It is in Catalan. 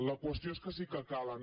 la qüestió és que sí que calen